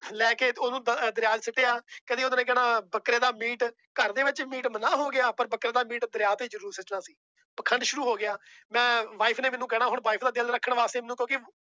ਲੈ ਕੇ ਉਹਨੂੰ ਦ ਦਰਿਆ ਚ ਸੁੱਟੇ ਆ, ਕਦੇ ਉਹਨੇ ਕਹਿਣਾ ਬੱਕਰੇ ਦਾ meat ਘਰਦੇ ਵਿੱਚ meat ਮਨਾਹ ਹੋ ਗਿਆ ਪਰ ਬੱਕਰੇ ਦਾ meat ਦਰਿਆ ਤੇ ਜ਼ਰੂਰ ਸੁੱਟਣਾ ਸੀ ਪਾਖੰਡ ਸ਼ੁਰੂ ਹੋ ਗਿਆ ਮੈਂ wife ਨੇ ਮੈਨੂੰ ਕਹਿਣਾ ਹੁਣ wife ਦਾ ਦਿਲ ਰੱਖਣਾ ਵਾਸਤੇ ਮੈਨੂੰ ਕਿਉਂਕਿ